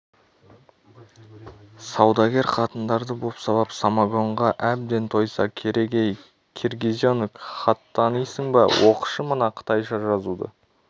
саудагер қатындарды бопсалап самогонға әбден тойса керек ей киргизенок хат танисың ба оқышы мына қытайша жазуды